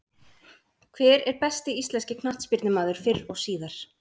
Hver er besti íslenski knattspyrnumaður fyrr og síðar?